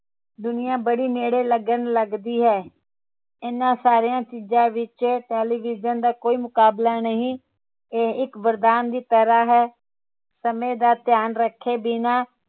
ਦੁਨੀਆ ਬੜੀ ਨੇੜੇ ਲੱਗਣ ਲੱਗਦੀ ਹੈ ਇਨ੍ਹਾਂ ਸਾਰੀਆਂ ਚੀਜ਼ਾਂ ਵਿਚ television ਦਾ ਕੋਈ ਮੁਕਾਬਲਾ ਨਹੀਂ ਇਹ ਇਕ ਵਰਦਾਨ ਦੀ ਤਰਾਹ ਹੈ ਸਮੇ ਦਾ ਧਿਆਨ ਰੱਖੇ ਬਿਨਾ